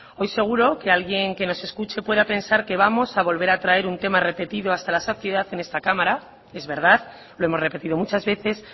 hoy seguro que alguien que nos escuche pueda pensar que vamos a volver a traer un tema repetido hasta la saciedad en esta cámara es verdad lo hemos repetido muchas veces